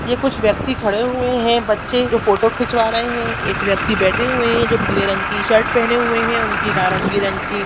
ये कुछ व्यक्ति खड़े हुए हैबच्चे जो फोटो खिचवा रहें हैएक व्यक्ति बैठे हुए है जो पीले रंग की शर्ट पहने हुए हैं उनकी नारंगी रंग की---